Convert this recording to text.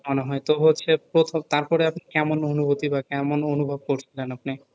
মনে হয় তো হচ্ছে প্রথম তার পরে কেমন অনুভুতি বা কেমন অনুভোব করছেন আপনি